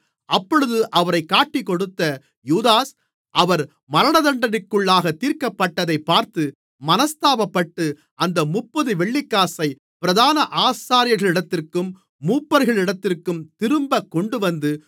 அப்பொழுது அவரைக் காட்டிக்கொடுத்த யூதாஸ் அவர் மரணதண்டனைக்குள்ளாகத் தீர்க்கப்பட்டதைப் பார்த்து மனஸ்தாபப்பட்டு அந்த முப்பது வெள்ளிக்காசை பிரதான ஆசாரியர்களிடத்திற்கும் மூப்பர்களிடத்திற்கும் திரும்பக் கொண்டுவந்து